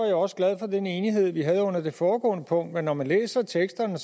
jeg også glad for den enighed vi havde under det foregående punkt men når man læser teksterne